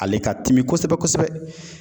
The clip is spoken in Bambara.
Ale ka timi kosɛbɛ-kosɛbɛ.